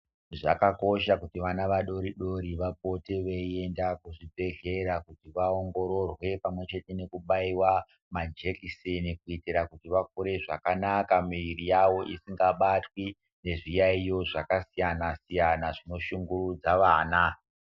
Zvakakosha kuti vana vadori dori vapote vei enda ku zvibhedhlera kuti va ongororwe pamwe chete neku baiwa majekiseni kuitira kuti va kure zvakanaka muviri yavo isanga batwi nezvi yayiyo zvaka siyana siyana zvino shungurudza vana.